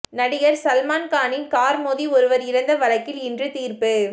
நடிகர் சல்மான்கானின் கார் மோதி ஒருவர் இறந்த வழக்கில் இன்று தீர்ப்பு